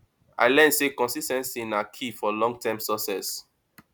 i learn sey consis ten cy na key for longterm success